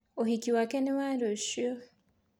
ũhiki wake ni wa rũciũ.